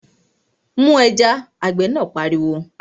Mu ẹja! Apẹja náà pariwo.